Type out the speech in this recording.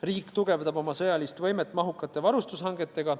Riik tugevdab oma sõjalist võimet mahukate varustushangetega.